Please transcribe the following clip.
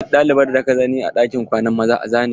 Duk ɗalibar da ka gani a ɗakin kwanan maza ka zane ta!